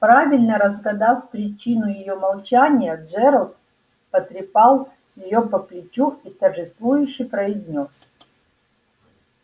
правильно разгадав причину её молчания джералд потрепал её по плечу и торжествующе произнёс